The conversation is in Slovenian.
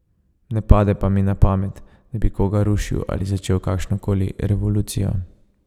Ne pade pa mi na pamet, da bi koga rušil ali začel kakršno koli revolucijo.